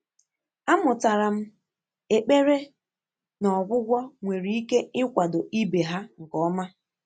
Àmụ́tàlà m ékpèré nà ọ́gwụ́gwọ́ nwéré íké ị́kwàdò íbé há nké ọ́mà.